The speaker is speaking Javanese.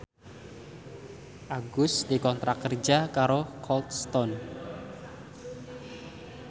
Agus dikontrak kerja karo Cold Stone